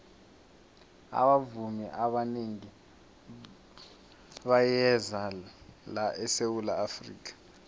abavumi abanengi bayeza la esawula afrika